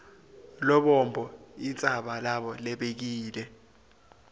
lubombo intsaba lebekile